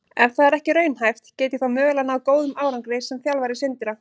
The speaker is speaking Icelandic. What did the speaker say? Ef það er ekki raunhæft, get ég þá mögulega náð góðum árangri sem þjálfari Sindra?